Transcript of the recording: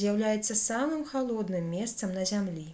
з'яўляецца самым халодным месцам на зямлі